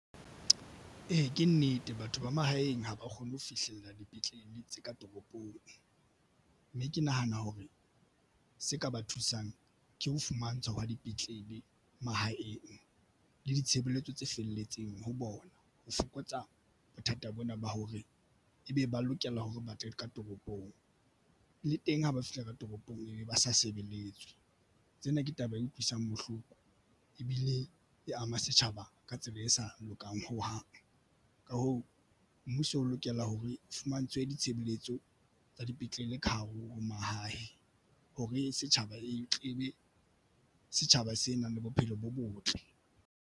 Ee, ke nnete batho ba mahaeng ha ba kgone ho fihlella dipetlele tse ka toropong mme ke nahana hore se ka ba thusang ke ho fumantshwa wa dipetlele mahaeng le ditshebeletso tse felletseng ho bona. Ho fokotsa bothata bona ba hore ebe ba lokela hore ba tle ka toropong le teng ha ba fihla ka toropong e be ba sa sebeletswe. Tsena ke taba e utlwisang bohloko ebile e ama setjhaba ka tsela e sa lokang ho hang. Ka hoo, mmuso o lokela ho re fumantshwe ditshebeletso tsa dipetlele ka hare ho mahae. Hore setjhaba e tle ebe setjhaba se nang le bophelo bo botle